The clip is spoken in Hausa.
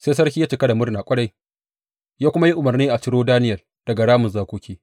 Sai sarki ya cika da murna ƙwarai, ya kuma yi umarni a ciro Daniyel daga ramin zakoki.